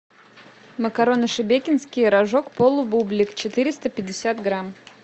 макароны шебекинские рожок полубублик четыреста пятьдесят грамм